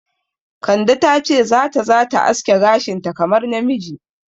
Kande ta ce za ta za ta aske gashinta kamar namiji.